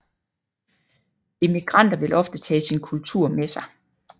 Immigranter vil ofte tage sin kultur med sig